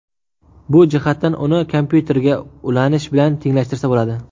Bu jihatdan uni kompyuterga ulanish bilan tenglashtirsa bo‘ladi.